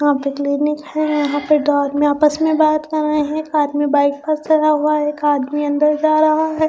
यहाँ पे क्लिनिक है यहाँ पे दो आदमी आपस में बात कर रहे हैं एक आदमी बाइक पर चढ़ा हुआ है एक आदमी अंदर जा रहा है।